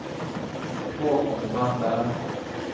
Haakon Tandberg